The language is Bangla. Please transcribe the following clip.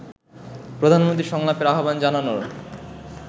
প্রধানমন্ত্রী সংলাপের আহ্বান জানানোর